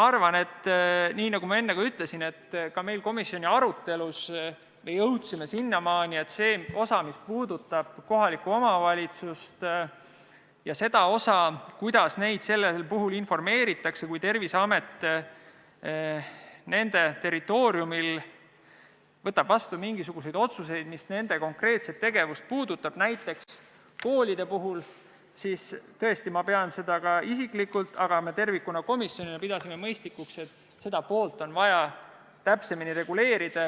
Nagu ma enne ütlesin, ka komisjoni arutelus me jõudsime sinnamaani, et mis puudutab kohalikke omavalitsusi ja seda, kuidas neid informeeritakse, kui Terviseamet nende territooriumi kohta võtab vastu mingisuguseid otsuseid, mis nende konkreetset tegevust puudutavad, näiteks koolide puhul, siis ma pean isiklikult, aga me ka tervikuna komisjonis pidasime mõistlikuks, et seda on vaja täpsemini reguleerida.